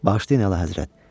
Bağışlayın Əlahəzrət.